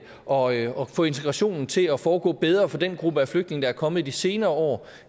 og og få integrationen til at foregå bedre for den gruppe af flygtninge der er kommet i de senere år